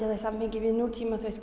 það í samhengi við nútímann